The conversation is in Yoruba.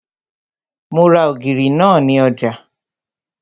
Mo ra ògìrì náà ní ọjà